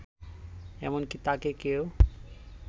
এমনকি তাকে কেউ